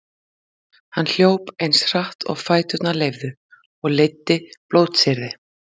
Hann hljóp eins hratt og fæturnir leyfðu og leiddi blótsyrði